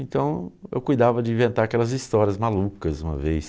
Então eu cuidava de inventar aquelas histórias malucas uma vez.